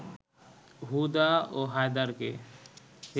হুদা ও হায়দারকে